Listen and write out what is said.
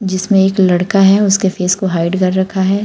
जिसमें एक लड़का है उसके फेस को हाइड कर रखा है।